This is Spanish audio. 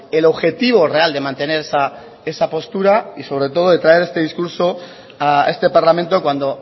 el objetivo real de mantener esa postura y sobre todo de traer este discurso a este parlamento cuando